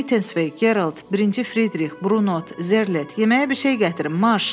Mitenspey, Geralt, birinci Fridrix, Brunot, Zerlet, yeməyə bir şey gətirin, maş.